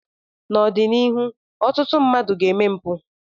n'ọdịnihu ọtụtụ mmadụ ga-eme mpụ